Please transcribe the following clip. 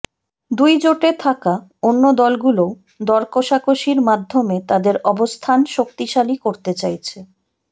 দুই জোটে থাকা অন্য দলগুলোও দরকষাকষির মাধ্যমে তাদের অবস্থান শক্তিশালী করতে চাইছে